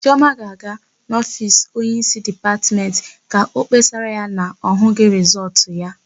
Chiọma ga-aga n'ofiisi onyeísí Dipatmentị ka ọ kpesara ya na ọ hụghị rịsọọtụ ya.